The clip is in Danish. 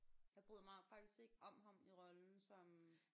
Jeg bryder mig faktisk ikke om ham i rollen som